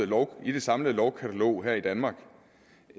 lov i det samlede lovkatalog her i danmark